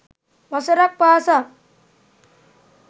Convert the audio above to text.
වසරක් පාසා